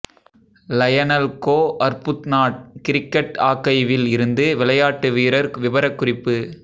Lionel கோ Arbuthnot cricket ஆக்கைவில் இருந்து விளையாட்டுவீரர் விபரக்குறிப்பு